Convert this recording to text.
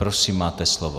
Prosím, máte slovo.